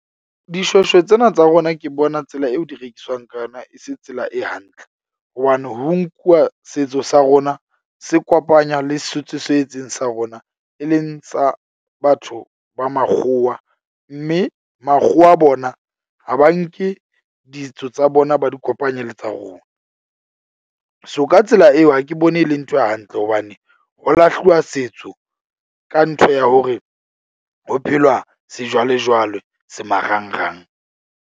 Dishweshwe tsena tsa rona ke bona tsela eo di rekiswang ka yona e se tsela e hantle. Hobane ho nkuwa setso sa rona se kopanywa le setso se etseng sa rona, e leng tsa batho ba makgowa. Mme makgowa bona ha ba nke ditso tsa bona ba di kopanye le tsa rona. So, ka tsela eo, ha ke bone e le nthwe hantle hobane ho lahluwa setso ka ntho ya hore ho phelwa sejwalejwale se marangrang.